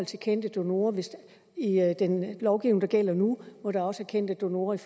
til kendte donorer i den lovgivning der gælder nu hvor der også er kendte donorer i